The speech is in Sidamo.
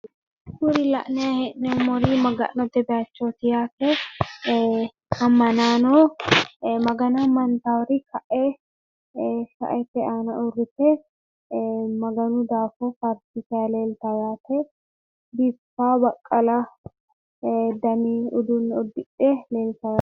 kunni la'nanni hee'noommori maga'note bayichooti yate amanaano Magano ama'nitari kae shaete aana uurite Maganu daafo faarsitanni leellitanno yate baqala dani uduunne uddidhe leellitano.